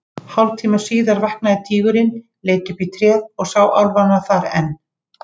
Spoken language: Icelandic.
Hálftíma síðar vaknaði tígurinn, leit upp í tréð og sá álfana þar enn.